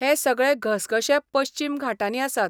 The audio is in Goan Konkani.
हे सगळे घसघशे पश्चीम घाटांनी आसात.